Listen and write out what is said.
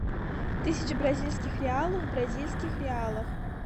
тысяча бразильских реалов в бразильских реалах